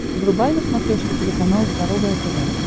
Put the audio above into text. врубай на смотрешке телеканал здоровое тв